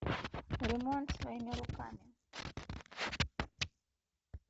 ремонт своими руками